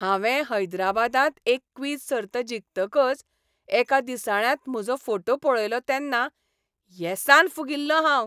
हांवें हैदराबादांत एक क्विझ सर्त जिखतकच एका दिसाळ्यांत म्हजो फोटो पळयलो तेन्ना येसान फुगिल्लों हांव.